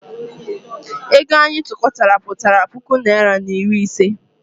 Ego anyị tụkọtara pụtara puku naịra na iri ise.